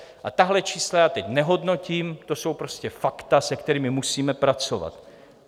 A tahle čísla já teď nehodnotím, to jsou prostě fakta, se kterými musíme pracovat.